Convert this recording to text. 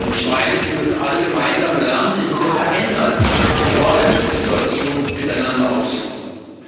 Ich meine, wir müssen alle gemeinsam lernen, in dieser veränderten globalen Situation miteinander auszukommen.